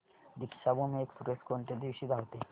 Deekshabhoomi express कोणत्या दिवशी धावते